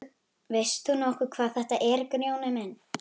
Veist þú nokkuð hvað þetta er Grjóni minn.